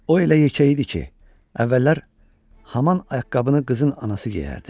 O elə yekə idi ki, əvvəllər haman ayaqqabını qızın anası geyərdi.